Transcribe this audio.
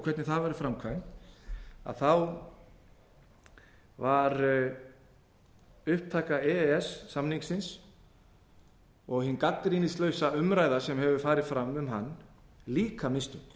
hvernig það var framkvæmt var upptaka e e s samningsins og hin gagnrýnislausa umræða sem hefur farið fram um hann líka mistök